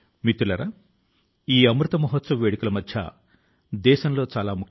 ఇంత పెద్ద లక్ష్యాన్ని సాధించిందా అనిపిస్తుంది